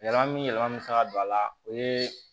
Yɛlɛma min yɛlɛma bɛ se ka don a la o ye